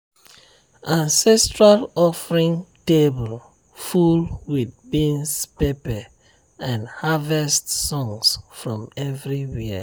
ancestral offering table full with beans pepper and harvest songs from everywhere.